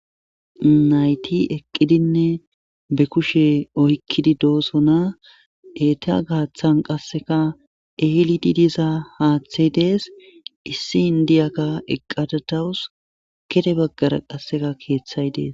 Nayti eqqidinne be kushe oykkidi doosona etea gaaththan qasseka ehelidi diza haaththay dees issi indiyakka eqqadadawus gede baggara qasseka keeththay dees.